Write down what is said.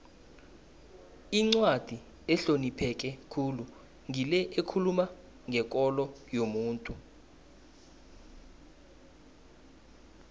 incwadi ehlonipheke khulu ngile ekhuluma ngekolo yomuntu